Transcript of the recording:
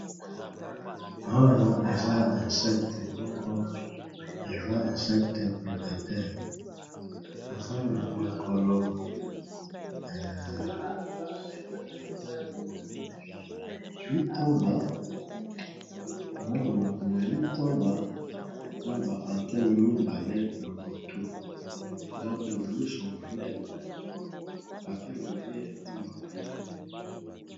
Awa eza insectes moko prédateurs eza na makolo mitoba na ba antenne mibale na mutu eza pe miso monene .